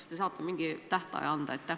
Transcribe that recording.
Kas te saate mingi tähtaja anda?